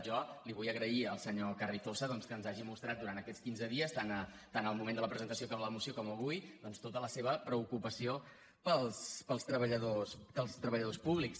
jo vull agrair al senyor carrizosa que ens hagi mostrat durant aquests quinze dies tant al moment de la presentació de la moció com avui tota la seva preocupació pels treballadors públics